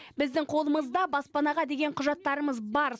біздің қолымызда баспанаға деген құжаттарымыз бар